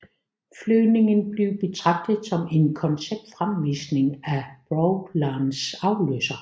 Flyvningen blev betragtet som en konceptfremvisning af Prowlerens afløser